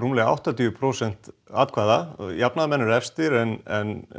rúmlega áttatíu prósent atkvæða jafnaðarmenn eru efstir en